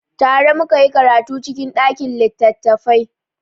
Tare mu ka yi karatu cikin ɗakin littattafai.